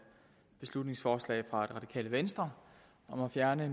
beslutningsforslag fra det radikale venstre om at fjerne